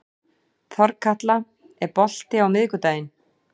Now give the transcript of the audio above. Þorkatla, er bolti á miðvikudaginn?